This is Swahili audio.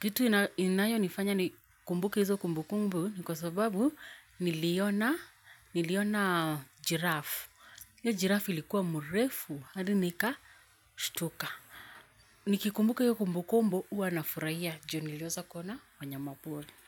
Kitu inayo nifanya nikumbuke hizo kumbu kumbu ni kwa sababu niliona giraffe. Hiyo giraffe ilikuwa mrefu hadi nikashutuka. Nikikumbuka hiyo kumbu kumbu huwa nafuraia ju niliweza kuona wanyamapori.